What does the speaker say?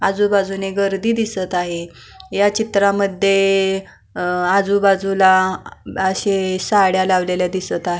आजूबाजूनी गर्दी दिसत आहे ह्या चित्रामध्ये आ आजूबाजूला अशे साड्या लावलेल्या दिसत आहे.